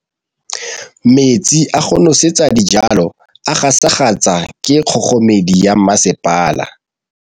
Metsi a go nosetsa dijalo a gasa gasa ke kgogomedi ya masepala.